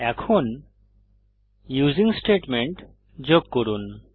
এখন using statement যোগ করুন